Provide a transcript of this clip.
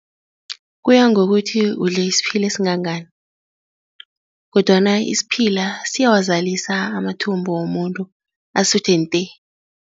Kuya ngokuthi udle isiphila esingangani kodwana isiphila siyawazalisa amathumbu womuntu asuthe-nte.